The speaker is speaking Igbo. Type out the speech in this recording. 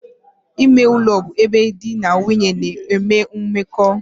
Ime ulo bu ebe di na nwunye na-enwe mmeko.